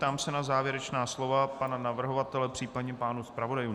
Ptám se na závěrečná slova pana navrhovatele, případně pánů zpravodajů.